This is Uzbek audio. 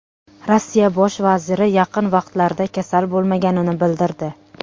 Rossiya bosh vaziri yaqin vaqtlarda kasal bo‘lmaganini bildirdi.